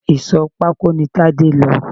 Ìsò pako ní Tade lọ